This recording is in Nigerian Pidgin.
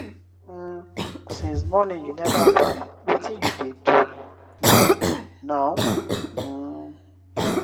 um since morning you never baff wetin you dey do um now um?